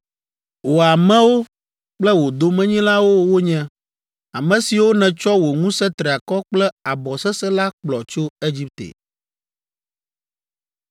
Wò amewo kple wò domenyilawo wonye, ame siwo nètsɔ wò ŋusẽ triakɔ kple abɔ sesẽ la kplɔ tso Egipte.”